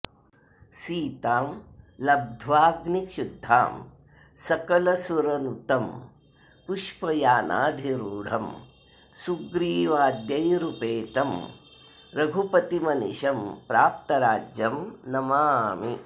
सीतां लब्ध्वाग्निशुद्धां सकलसुरनुतं पुष्पयानाधिरूढं सुग्रीवाद्यैरुपेतं रघुपतिमनिशं प्राप्तराज्यं नमामि